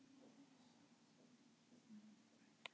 Ertu að missa náttúruna?